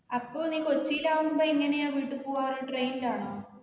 അപ്പൊ നീ കൊച്ചീലാകുമ്പൊ എങ്ങനെയാ വീട്ടി പോവാ train ലാണോ